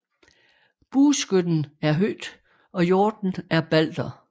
Bueskytten er Hød og hjorten er Balder